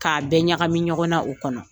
K'a bɛɛ ɲagami ɲɔgɔn na, o kɔnɔ.